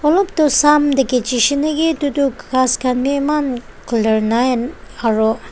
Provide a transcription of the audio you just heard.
olop toh Sam tae khichi shey naki edu tu ghas khan bi eman clear nai aro.